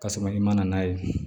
K'a sɔrɔ i ma na n'a ye